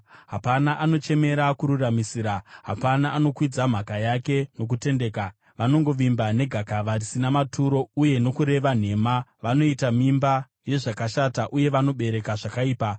Hapana anochemera kururamisira; hapana anokwidza mhaka yake nokutendeka. Vanongovimba negakava risina maturo uye nokureva nhema; vanoita mimba yezvakashata uye vanobereka zvakaipa.